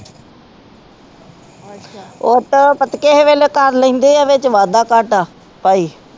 ਵਿੱਚ ਵਾਧਾ ਕਾਟਾ ਪਾਈ